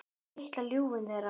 Á litla ljúfinn þeirra.